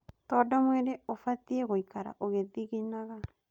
Tondũ mwĩrĩ ũbatiĩ gũikara ũgĩthiginaga